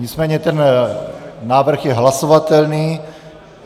Nicméně ten návrh je hlasovatelný.